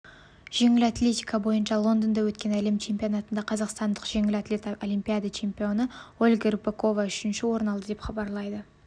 жеңіл атлетика бойынша лондонда өткен әлем чемпионатында қазақстандық жеңіл атлет олимпиада чемпионы ольга рыпакова үшінші орын алды деп хабарлайды